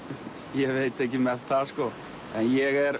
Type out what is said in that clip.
ég veit ekki með það sko en ég er